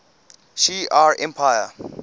shi ar empire